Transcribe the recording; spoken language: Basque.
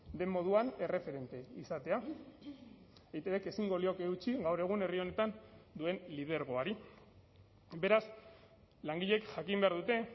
den moduan erreferente izatea eitbk ezingo lioke eutsi gaur egun herri honetan duen lidergoari beraz langileek jakin behar dute